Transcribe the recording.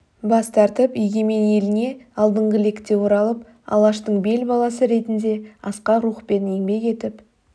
бас тартып егемен еліне алдыңғы лекте оралып алаштың бел баласы ретінде асқақ рухпен еңбек етіп